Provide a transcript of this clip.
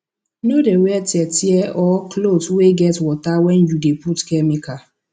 no dey wear tear tear or cloth wey get water wen you dey put chemical